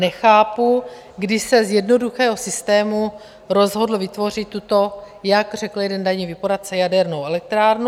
Nechápu, kdy se z jednoduchého systému rozhodl vytvořit tuto, jak řekl jeden daňový poradce, jadernou elektrárnu.